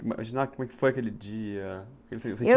Imaginar como foi aquele dia,